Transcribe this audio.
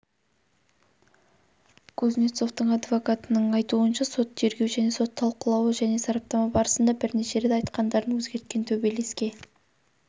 кузнецовтың адвокатының айтуынша сот тергеу және сот талқылауы және сараптама барысында бірнеше рет айтқандарын өзгерткен төбелеске